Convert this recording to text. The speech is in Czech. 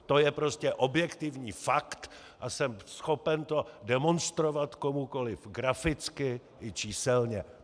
To je prostě objektivní fakt a jsem schopen to demonstrovat komukoliv graficky i číselně.